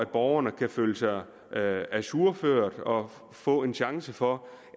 borgerne kan føle sig ajourført og få en chance for